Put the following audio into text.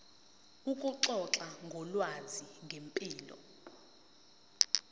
ukuxoxa ngolwazi ngempilo